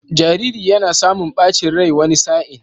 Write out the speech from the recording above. Jariri yana samun ɓacin rai wani sa'in.